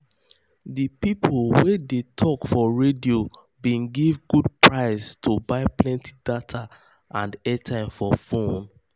de people wey dey tok for radio bin give good price to buy plenty data and airtime for fone.